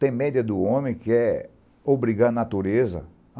Tem média do homem que é obrigar a natureza.